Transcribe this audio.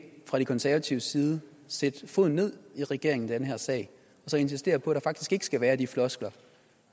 fra de konservatives side sætte foden ned i regeringen i den her sag og insistere på at der faktisk ikke skal være de floskler